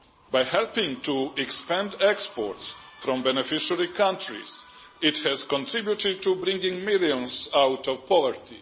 By helping to expand exports from beneficiary countries, it has contributed to bringing millions out of poverty.